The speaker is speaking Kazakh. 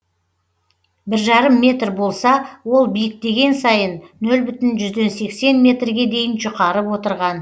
бір жарым метр болса ол биіктеген сайын нөл бүтін жүзден сексен метрге дейін жұқарып отырған